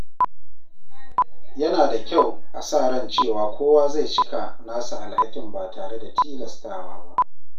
Yana da kyau a sa ran cewa kowa zai cika nasa alhakin ba tare da tilastawa ba.